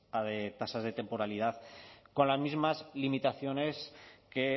tasas de temporalidad con las mismas limitaciones que